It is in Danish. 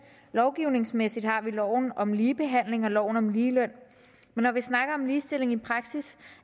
lovgivningsmæssigt har vi loven om ligebehandling og loven om ligeløn men når vi snakker om ligestilling i praksis